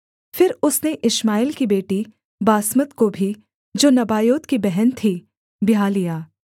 फिर उसने इश्माएल की बेटी बासमत को भी जो नबायोत की बहन थी ब्याह लिया